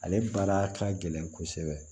Ale baara ka gɛlɛn kosɛbɛ